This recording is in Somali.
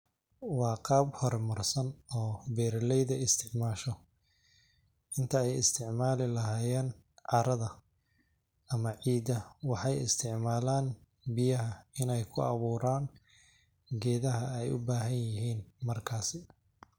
Wa qab hor marsan oo beroleyda istacmasho intay istacmali lahayen carada ama cida waxay istacmalan biyaha inay ku aburan gedaha ay ubahin markasi.